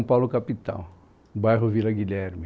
Paulo, capital, bairro Vila Guilherme.